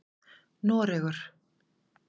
Noregur